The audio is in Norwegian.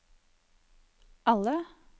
alle